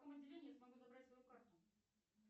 в каком отделении я смогу забрать свою карту